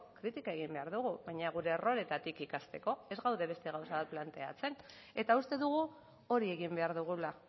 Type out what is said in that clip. kritika egin behar dugu baina gure erroreetatik ikasteko ez gaude beste gauza bat planteatzen eta uste dugu hori egin behar dugula